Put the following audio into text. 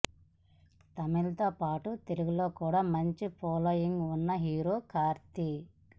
తమిళ్ తో పాటు తెలుగులో కూడా మంచి ఫాలోయింగ్ ఉన్న హీరో కార్తీ